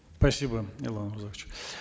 спасибо ерлан